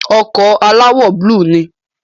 ọkọ̀ alawọ búlù ni